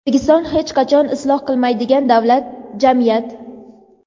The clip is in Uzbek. O‘zbekiston hech qachon isloh qilinmaydigan davlat, jamiyat.